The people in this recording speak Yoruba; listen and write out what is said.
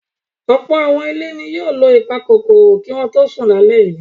Ọ̀pọ̀ àwọn ilé ni yóò lo ìpakòkòrò kí wọ́n tó sùn lálẹ́ yìí.